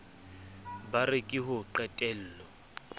ba re ke ho qetello